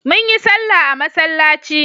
Mun yi sallah a masallaci.